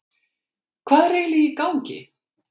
hvað er eiginlega í gangi